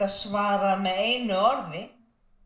svarað með einu orði